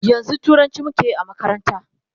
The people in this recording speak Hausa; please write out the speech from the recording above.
yanzun turanci muke Yi a makaranta